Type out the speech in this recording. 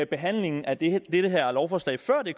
behandlingen af det her lovforslag før det